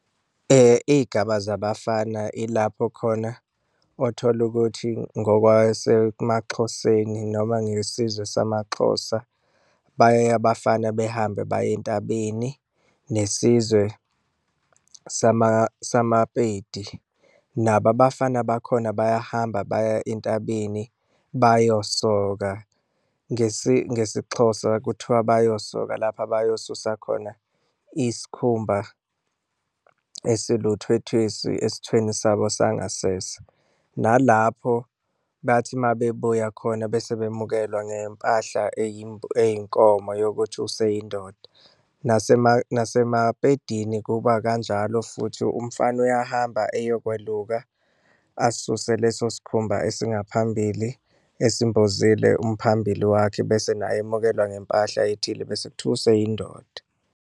Iy'gaba zabafana ilapho khona othola ukuthi ngokwasemaXhoseni noma ngesizwe samaXhosa, baye abafana behambe baye entabeni, nesizwe samaPedi nabo abafana bakhona bayahamba baya entabeni bayosoka. Ngesixhosa kuthiwa bayosoka lapha abayosusa khona isikhumba esiluthwethwesi esithweni sabo sangasese, nalapho bathi uma bebuya khona bese bemukelwa ngempahla eyinkomo yokuthi useyindoda. NasemaPedini kuba kanjalo futhi umfana uyahamba eyokweluka asuse leso sikhumba esingaphambini esimbozile umphambili wakhe, bese naye emukelwa ngempahla ethile bese kuthiwa useyindoda.